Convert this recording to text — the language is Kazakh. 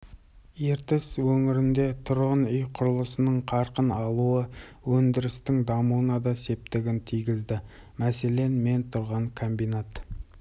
ертіс өңірінде тұрғын үй құрылысының қарқын алуы өндірістің дамуына да септігін тигізді мәселен мен тұрған комбинат